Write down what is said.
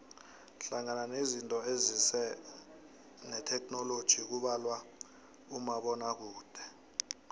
hlangana nezinto ezize netheknoloji kubalwa umabonakude